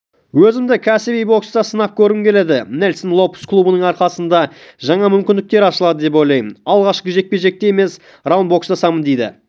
өзімді кәсіби бокста сынап көргім келеді нельсон лопес клубының арқасында жаңа мүмкіндіктер ашылады деп ойламын алғашқы жекпе-жекте емес раунд бокстасамын дейді